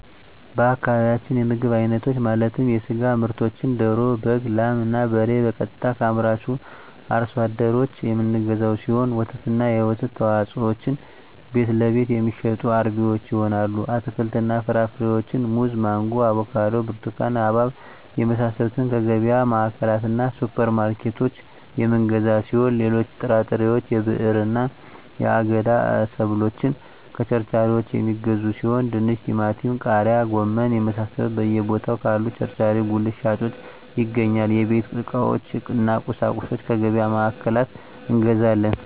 በአካባቢያችን የምግብ አይነቶች ማለትም የስጋ ምርቶችን ደሮ በግ ላም እና በሬ ቀጥታ ከአምራቹ አርሶ አደሮች የምንገዛው ሲሆን ወተትና የወተት ተዋፅኦዎችን ቤትለቤት የሚሸጡ አርቢዎች ይሆናል አትክልትና ፍራፍሬዎችን ሙዝ ማንጎ አቮካዶ ብርቱካን ሀባብ የመሳሰሉትከየገቢያ ማዕከላትእና ሱፐር ማርኬቶች የምንገዛ ሲሆን ሌሎች ጥራጥሬዎች የብዕርና የአገዳ ሰብሎችን ከቸርቻሪዎች የሚገዙ ሲሆን ድንች ቲማቲም ቃሪያ ጎመን የመሳሰሉት በየ ቦታው ካሉ ቸርቻሪ ጉልት ሻጮች ይገኛል የቤት ዕቃዎች እነ ቁሳቁሶች ከገቢያ ማዕከላት እንገዛለን